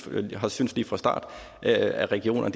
vi har syntes lige fra starten at at regionerne